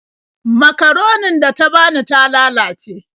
Makaronin da ta bani ta lalace.